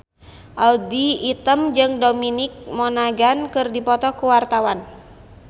Audy Item jeung Dominic Monaghan keur dipoto ku wartawan